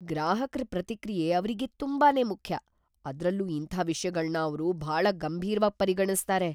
ಗ್ರಾಹಕ್ರ ಪ್ರತಿಕ್ರಿಯೆ ಅವ್ರಿಗೆ ತುಂಬಾನೇ ಮುಖ್ಯ. ಅದ್ರಲ್ಲೂ ಇಂಥ ವಿಷ್ಯಗಳ್ನ ಅವ್ರು ಭಾಳ ಗಂಭೀರ್ವಾಗ್‌ ಪರಿಗಣಿಸ್ತಾರೆ.